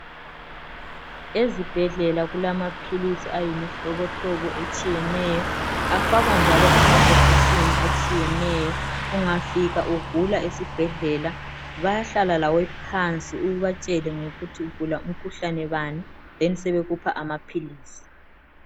ezibhedlela kulamaphilisi ayimhlobomhlobo etshiyeneyo afakwa njalo emabhokisini atshiyeneyo ungafika ugula esibhedlela bayahlala lawe phansi ubatshele ngokuthi ugula umkhuhlane bani besebekunika amaphilisi